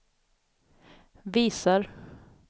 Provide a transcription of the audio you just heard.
visar